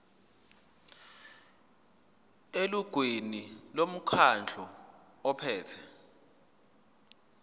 elungwini lomkhandlu ophethe